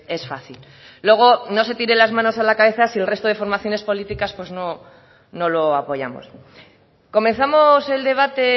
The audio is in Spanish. es fácil luego no se tire las manos a la cabeza si el resto de formaciones políticas pues no lo apoyamos comenzamos el debate